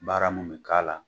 Baara mun bi k'ala